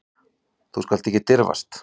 Þú skalt ekki dirfast.